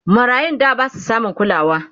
marayun da Basu samun kulawa